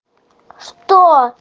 что